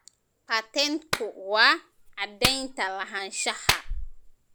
Patentku waa caddaynta lahaanshaha.